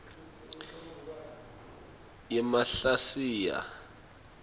yemahlasiya